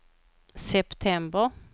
september